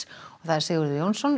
Sigurður Jónsson